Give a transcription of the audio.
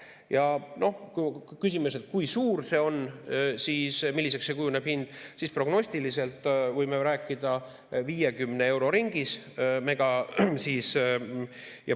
Ja kui küsime, kui suur see on, milliseks see hind kujuneb, siis prognostiliselt võime rääkida 50 euro ringis.